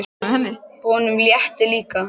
Honum létti líka.